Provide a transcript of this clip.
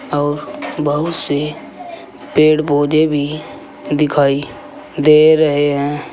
और बहुत से पेड़ पौधे भी दिखाई दे रहे हैं।